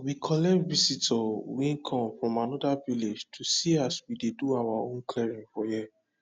we collect visitor wey come from anoda village to see as we dey do our own clearing for here